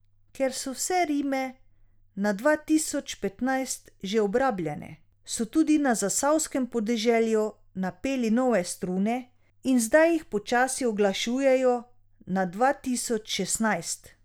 Ker so vse rime na dva tisoč petnajst že obrabljene, so tudi na zasavskem podeželju napeli nove strune in zdaj jih počasi uglašujejo na dva tisoč šestnajst.